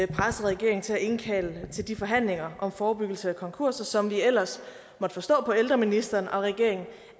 pressede regeringen til at indkalde til de forhandlinger om forebyggelse af konkurser som vi ellers måtte forstå på ældreministeren og regeringen